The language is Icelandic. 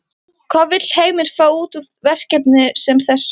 Hvað vill Heimir fá út úr verkefni sem þessu?